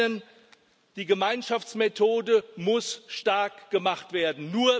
Zum einen Die Gemeinschaftsmethode muss stark gemacht werden.